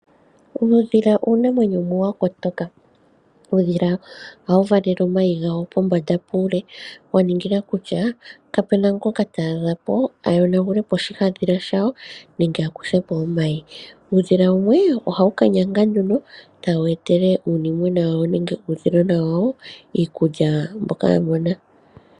Uudhila uunamwenyo wumwe wa kotoka. Uudhila ohawu valele omayi gawo pombanda puule wa ningila kutya kapuna ngoka taadha po a yonagule po oshihandhila shawo nende akuthe po omayi. Uudhila wumwe ohawu ka nyanga tawu etele uunimona wawo nenge uudhilona wawo iikulya mbyoka wamona.